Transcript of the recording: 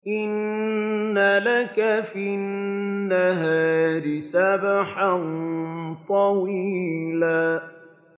إِنَّ لَكَ فِي النَّهَارِ سَبْحًا طَوِيلًا